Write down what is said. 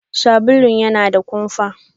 Sabulun yana da kumfa.